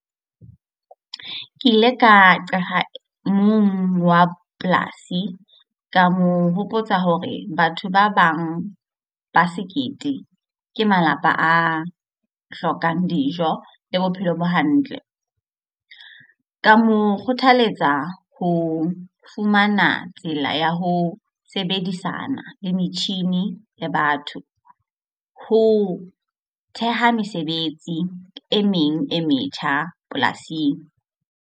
Ke ile ka qala mong wa polasi ka mo hopotsa hore batho ba bang ba sekete ke malapa a hlokang dijo le bophelo bo hantle. Ka mo kgothaletsa ho fumana tsela ya ho sebedisana le metjhini le batho. Ho theha mesebetsi e meng e metjha polasing.